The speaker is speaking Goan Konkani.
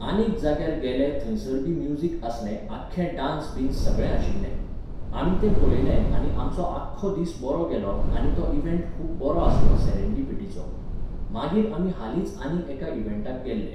आनीक जाग्यार गेले थंयसर बी म्युजीक आसलें आख्खें डांस बिंस सगळें आशिल्लें. आमी तें पळयलें आनी आमचो आख्खो दीस बरो गेलो आनी तो इव्हेंट खूब बरो आसलो सेरेनडिपिटीचो. मागीर आमी हालींच आनीक एका इवेंटाक गेल्ले.